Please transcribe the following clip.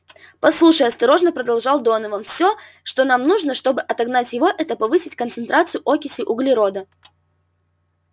послушай осторожно продолжал донован всё что нам нужно чтобы отогнать его это повысить концентрацию окиси углерода